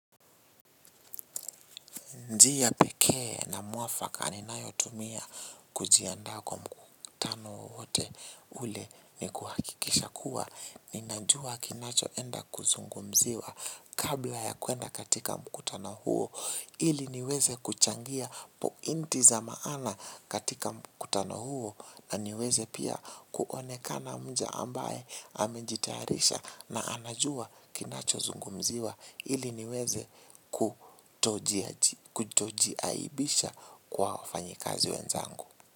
Njia pekee na muafaka ninayo tumia kujiandaa kwa mkutano wote ule ni kuhakikisha kuwa. Ninajua kinacho enda kuzungumziwa kabla ya kuenda katika mkutano huo ili niweze kuchangia pointi za maana katika mkutano huo na niweze pia kuonekana mja ambaye amejitayarisha na anajua kinacho zungumziwa ili niweze kutojaji. Kutojiaibisha kwa wafanyakazi wenzangu.